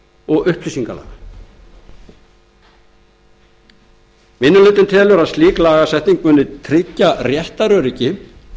og upplýsingalaga minni hlutinn telur að slík lagasetning muni tryggja réttaröryggi